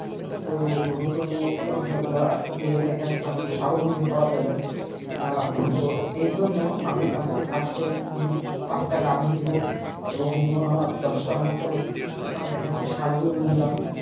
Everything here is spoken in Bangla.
তো গরু টরু এগুলা দিয়ে দেখা যাচ্ছে অনেকটা সাবলম্বী হওয়া যাবে আহ তো এর জন্য আমি সরাসরি first এ পাঁচটা গাভী নিব এবং দশটা আহ মতো দেখা যাচ্ছে ষাঁড় গরু নিলাম,